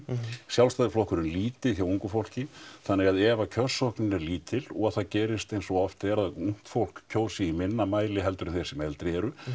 Sjálfstæðisflokkurinn lítið hjá ungu fólki þannig að ef kjörsóknin er lítil og það gerist eins og oft er að ungt fólk kjósi í minna mæli heldur en þeir sem eldri eru